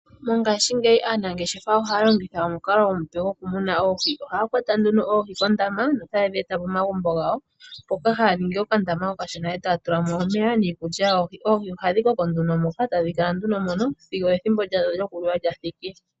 Mongashingeyi aanangeshefa ohaya longitha omukalo omupe goku muna Oohi. Ohaya kwata nduno Oohi kondama no ta tedhi eta momagumbo gawo. Mpoka haya ningi okandama okashona e taya tulamo omeya niikulya. Oohi ohadhi koko nduno moka, tadhi kala nduno mono sigo ethimbo lyawo lyokuliwa lyathiki.